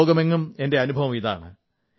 ലോകമെങ്ങും എന്റെ അനുഭവം ഇതാണ്